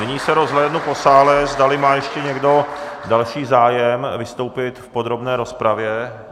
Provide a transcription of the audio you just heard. Nyní se rozhlédnu po sále, zdali má ještě někdo další zájem vystoupit v podrobné rozpravě.